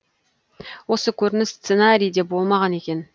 осы көрініс сценарийде болмаған екен